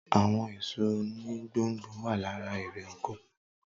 Àwọn èso oni gbò n gbò wà lára eré oko